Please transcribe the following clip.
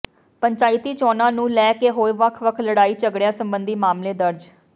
ਪੰਚਾਇਤੀ ਚੋਣਾਂ ਨੂੰ ਲੈ ਕੇ ਹੋਏ ਵੱਖ ਵੱਖ ਲੜਾਈ ਝਗੜਿਆਂ ਸਬੰਧੀ ਮਾਮਲੇ ਦਰਜ